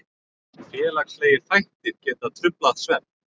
Félagslegir þættir geta truflað svefn.